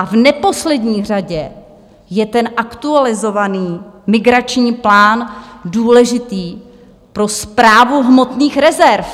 A v neposlední řadě je ten aktualizovaný migrační plán důležitý pro Správu hmotných rezerv.